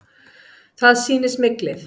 Það sýni smyglið.